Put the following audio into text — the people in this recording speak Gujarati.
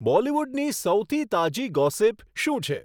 બોલીવુડની સૌથી તાજી ગોસિપ શું છે